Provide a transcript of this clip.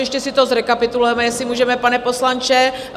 Ještě si to zrekapitulujeme, jestli můžeme, pane poslanče.